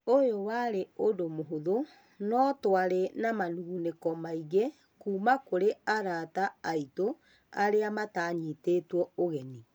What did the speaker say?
ũyũ warĩ ũndũ mũhũthũ, no-tũarĩ na manugunĩko maingĩ kuuma kũrĩ arata aitũ arĩa matanyitirwo ũgeni.